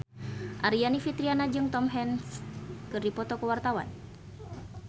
Aryani Fitriana jeung Tom Hanks keur dipoto ku wartawan